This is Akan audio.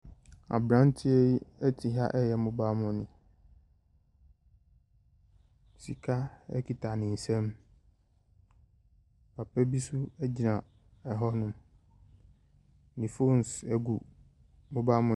Abranteɛ yi te ha yɛ 'mobile money' sika kura ne nsam papa bi gyina hɔ ne ƒɔnn gu ɛpono no so.